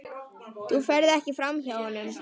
Þú ferð ekki framhjá honum.